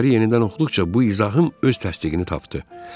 Əsəri yenidən oxuduqca bu izahım öz təsdiqini tapdı.